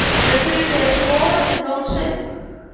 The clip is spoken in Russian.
закрытая школа сезон шесть